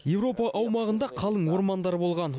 еуропа аумағында қалың ормандар болған